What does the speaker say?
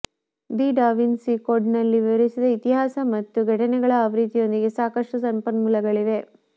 the Da Vinci ಕೋಡ್ನಲ್ಲಿ ವಿವರಿಸಿದ ಇತಿಹಾಸ ಮತ್ತು ಘಟನೆಗಳ ಆವೃತ್ತಿಯೊಂದಿಗೆ ಸಾಕಷ್ಟು ಸಂಪನ್ಮೂಲಗಳಿವೆ